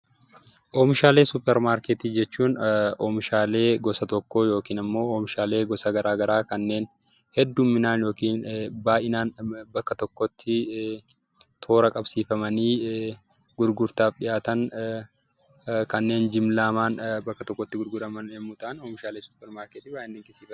Oomishaalee suupparmaarkeetii jechuun oomishaalee gosa tokkoo yookiin oomishaalee gosa garaagaraa kanneen heddumminaan yookaan baay'inaan bakka tokkotti toora qabsiifamanii gurgurtaaf dhiyaatan kanneen ilmi namaa bakka tokkotti gurguraman yoo ta'an oomishaalee suupparmaarkeetiidha.